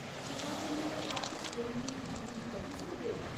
कृपा करियै क्या तुस मेरे लेई इक मिंट कड्ढी सकदे ओ ?